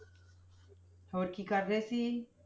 ਹੋਰ ਕੀ ਕਰ ਰਹੇ ਸੀ?